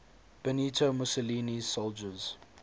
benito mussolini's soldiers